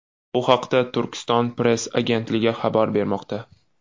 Bu haqda Turkiston-press agentligi xabar bermoqda .